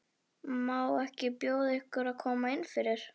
Má ekki bjóða ykkur að koma innfyrir?